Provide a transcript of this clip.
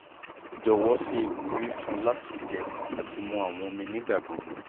jọwọ ṣe iwuri fun u lati jẹ ati mu awọn omi nigbagbogbo